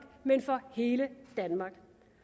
men for hele danmark